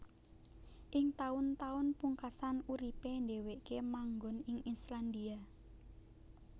Ing taun taun pungkasan uripé dhèwèké manggon ing Islandia